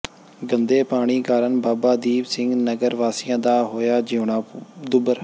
ਗੰਦੇ ਪਾਣੀ ਕਾਰਨ ਬਾਬਾ ਦੀਪ ਸਿੰਘ ਨਗਰ ਵਾਸੀਆ ਦਾ ਹੋਇਆ ਜਿਉਣਾ ਦੁੱਭਰ